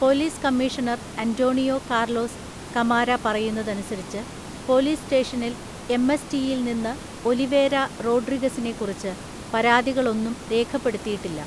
Police commissioner Antonio Carlos Camara പറയുന്നതനുസരിച്ച്, police സ്റ്റേഷനിൽ M. S. ടിയിൽ നിന്ന് ഒലിവേര റോഡ്രിഗസിനെക്കുറിച്ച് പരാതികളൊന്നും രേഖപ്പെടുത്തിയിട്ടില്ല.